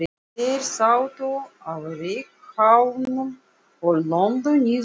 Þeir sátu á reykháfnum og lömdu niður löppunum.